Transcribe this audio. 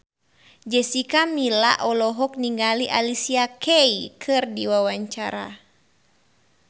Jessica Milla olohok ningali Alicia Keys keur diwawancara